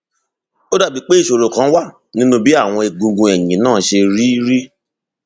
ó dàbíi pé ìṣòro kan wà nínú bí àwọn egungun ẹyìn náà ṣe rí rí